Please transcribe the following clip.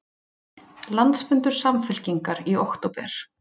Landsfundur Samfylkingar í október